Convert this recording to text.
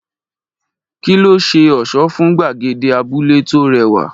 Kí ló ṣe ọ̀ṣọ́ fún gbàgede abúlé tó rẹwà?